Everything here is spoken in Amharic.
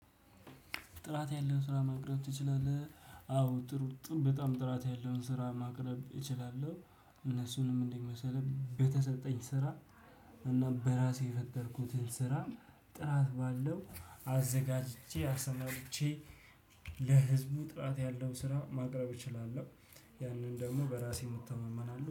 ጥራት ያለውን ስራ ማቅረብ ትችላለህ? አዎ ጥሩ ጥሩ በጣም ጥራት ያለውን ስራ ማቅረብ እችላለሁ። እነሱንም እንደዚህ መሰለህ በተሰጠኝ ስራ። እና በራሴ የፈጠርኩትን ስራ ጥራት ባለው አዘጋጅቼ አስመልክቼ- ለህዝቡ ጥራት ያለው ስራ ማቅረብ እችላለሁ። ያንን ደግሞ በራሴ እተማመናለው